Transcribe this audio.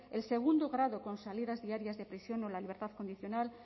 el segundo grado con salidas diarias de prisión o la libertad condicional